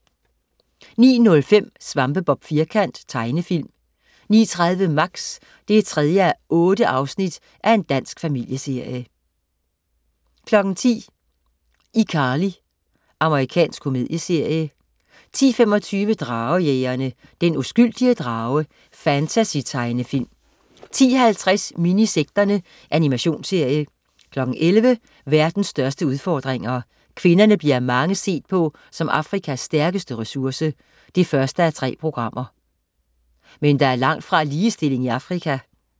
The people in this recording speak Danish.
09.05 Svampebob Firkant. Tegnefilm 09.30 Max 3:8. Dansk familieserie 10.00 iCarly. Amerikansk komedieserie 10.25 Dragejægerne. Den uskyldige drage. Fantasy-tegnefilm 10.50 Minisekterne. Animationsserie 11.00 Verdens største udfordringer. Kvinderne bliver af mange set på som Afkrikas stærkeste ressource. 1:3 Men der er langtfra ligestilling i Afrika